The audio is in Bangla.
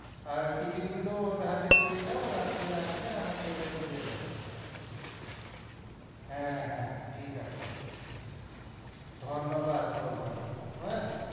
আর ticket গুলো ওর হাতে দিয়ে দাও ও রাত্তিরে আসবে আমাকে দিয়ে দেবে হ্যাঁ হ্যাঁ ঠিক আছে ধন্যবাদ বলবোনা হু ।